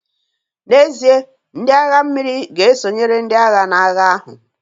N'ezie, ndị agha mmiri ga-esonyere ndị agha n'agha ahụ